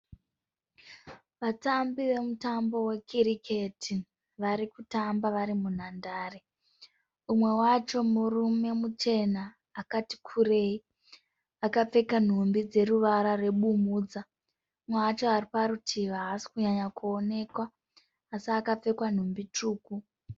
Vatambi vemutambo wekiriketi. Vari kutamba vari munhandare. Umwe wacho murume muchena akati kurei akapfeka nhumbi dzeruvara rwebumhudza. Umwe wacho ari parutivi haasikunyanya kuonekwa asi akapfeka nhumbi tsvuku.